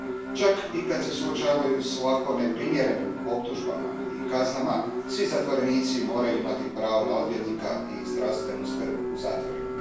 Čak i kad se suočavaju s ovako neprimjerenim optužbama i kaznama, svi zatvorenici moraju imati pravo na odvjetnika i zdravstvenu skrb u zatvorima.